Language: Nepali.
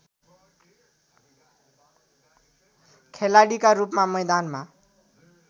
खेलाडीका रूपमा मैदानमा